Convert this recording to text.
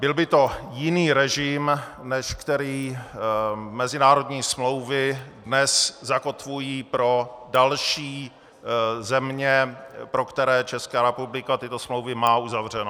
Byl by to jiný režim, než který mezinárodní smlouvy dnes zakotvují pro další země, pro které Česká republika tyto smlouvy má uzavřeny.